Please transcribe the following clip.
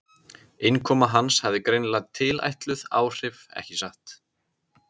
Innkoma hans hafði greinilega tilætluð áhrif- ekki satt?